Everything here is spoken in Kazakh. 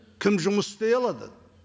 кім жұмыс істей алады